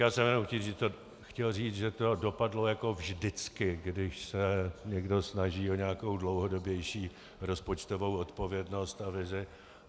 Já jsem jenom chtěl říct, že to dopadlo jako vždycky, když se někdo snaží o nějakou dlouhodobější rozpočtovou odpovědnost a vizi.